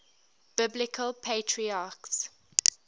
biblical patriarchs